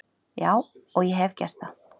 Já og ég hef gert það.